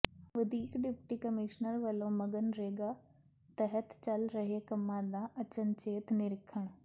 ਵਧੀਕ deputy commissioner ਵੱਲੋਂ ਮਗਨਰੇਗਾ ਤਹਿਤ ਚੱਲ ਰਹੇ ਕੰਮਾਂ ਦਾ ਅਚਨਚੇਤ ਨਿਰੀਖਣ